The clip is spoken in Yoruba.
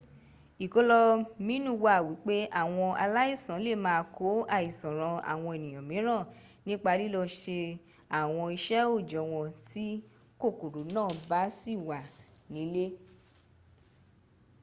ìkọlóminú wà wípé àwọn aláìsàn lè máa kó àìsàn ran àwọn ènìyàn míràn nípa lilọ́ se àwọn iṣẹ́ òòjọ́ wọn tí kòkòrò náà bá sì wà nílẹ̀